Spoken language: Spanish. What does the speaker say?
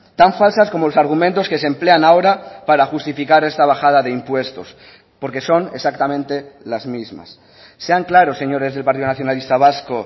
tan falsas como los argumentos que se emplean ahora para justificar esta bajada de impuestos porque son exactamente las mismas sean claros señores del partido nacionalista vasco